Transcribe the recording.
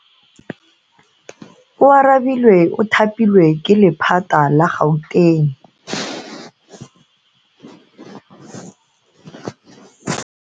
Oarabile o thapilwe ke lephata la Gauteng.